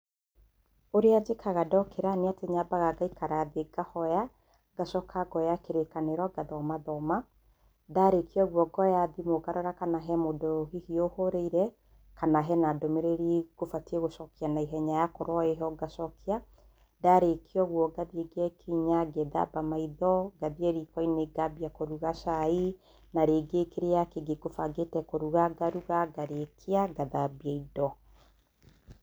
Ũrĩa njĩkaga ndokĩra nĩ atĩ nyambaga ngaikarĩ thĩĩ ngahoya, ngacoka ngoya kĩrĩkanĩro ngathomathoma ,ndarĩkia ũguo ngoya thimũ ngarora kana he mũndũ hihi ahũrĩire kana hena ndũmĩrĩri ĩkũbatie gũcokia na ihenya yakoorwa ĩho ngacokia ndarĩkia ũguo ngathii ngekinya, ngethamba maitho ,ngathiĩ rikoinĩ ngambirĩria kũruga cai narĩngĩ kĩrĩa na rĩngĩ kĩrĩa ngũmbangĩte kũruga, ngaruga, ngarĩkia ngathambia indo .